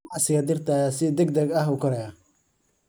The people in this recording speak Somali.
Ganacsiga dhirta ayaa si degdeg ah u koraya.